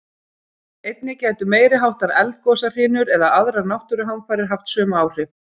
Einnig gætu meiri háttar eldgosahrinur eða aðrar náttúruhamfarir haft sömu áhrif.